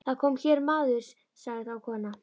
Það kom hér maður, sagði þá konan.